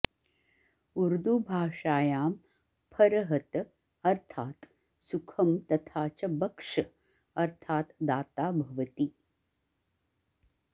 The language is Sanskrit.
उर्दूभाषायां फरहत अर्थात् सुखं तथा च बख्श अर्थात् दाता भवति